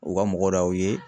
U ka mɔgɔ de y'aw ye.